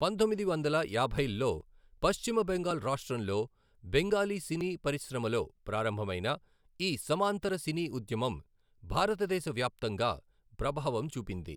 పంతొమ్మిది వందల యాభైల్లో పశ్చిమ బెంగాల్ రాష్ట్రంలో బెంగాలీ సినీ పరిశ్రమలో ప్రారంభమైన ఈ సమాంతర సినీ ఉద్యమం భారతదేశ వ్యాప్తంగా ప్రభావం చూపింది.